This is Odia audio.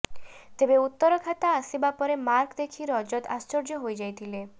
ତେବେ ଉତ୍ତର ଖାତା ଆସିବା ପରେ ମାର୍କ ଦେଖି ରଜତ ଆଶ୍ଚର୍ଯ୍ୟ ହୋଇଯାଇଥିଲେ